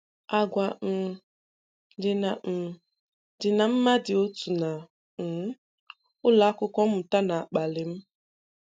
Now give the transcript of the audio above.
Àgwà um dị na um dị na ma ndị otu na um ụlọ akwụkwọ mmuta na-akpali m. um